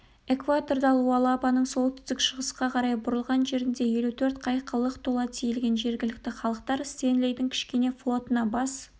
экваторда луалабаның солтүстік-шығысқа қарай бұрылған жерінде елу төрт қайыққа лық тола тиелген жергілікті халықтар стенлидің кішкене флотына бас